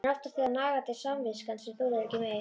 En oftast er það nagandi samviskan sem þolir ekki meir.